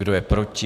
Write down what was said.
Kdo je proti?